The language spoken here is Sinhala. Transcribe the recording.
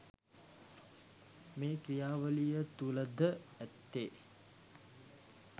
මෙම ක්‍රියාවලිය තුළ ද ඇත්තේ